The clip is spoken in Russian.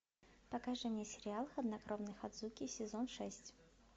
покажи мне сериал хладнокровный ходзуки сезон шесть